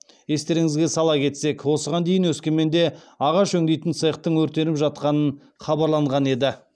естеріңізге сала кетсек осыған дейін өскеменде ағаш өңдейтін цехтің өртеніп жатқанын хабарланған еді